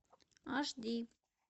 аш ди